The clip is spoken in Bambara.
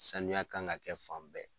Sanuya kan ka kɛ fan bɛɛ.